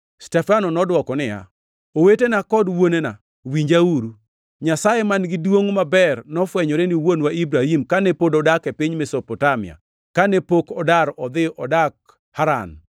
Stefano nodwoko niya, “Owetena kod wuonena, winjauru! Nyasaye man-gi duongʼ maber nofwenyore ni wuonwa Ibrahim kane pod odak e piny Mesopotamia, kane pok odar odhi odak Haran.